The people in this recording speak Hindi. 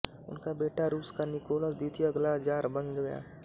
उनका बेटा रूस का निकोलस द्वितीय अगला ज़ार बन गया